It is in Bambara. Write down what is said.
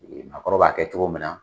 Maakɔrɔ b'a kɛ cogo min na